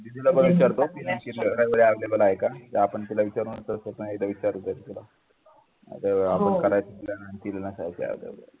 दीदीला विचारतो available आहे का आपण तिल नसायच available